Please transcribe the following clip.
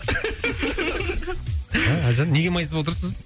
ә әлжан неге майысып отырсыз